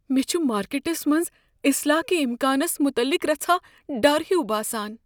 مےٚ چھ مارکٮ۪ٹس منٛز اصلاح کہ امکانس متعلق رژھاہ ڈر ہیُو باسان۔